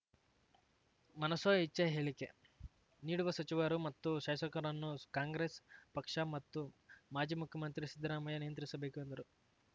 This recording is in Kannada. ಮನಸೋ ಇಚ್ಛೆ ಹೇಳಿಕೆ ನೀಡುವ ಸಚಿವರು ಮತ್ತು ಶಾಸಕರನ್ನು ಕಾಂಗ್ರೆಸ್‌ ಪಕ್ಷ ಮತ್ತು ಮಾಜಿ ಮುಖ್ಯಮಂತ್ರಿ ಸಿದ್ದರಾಮಯ್ಯ ನಿಯಂತ್ರಿಸಬೇಕು ಎಂದರು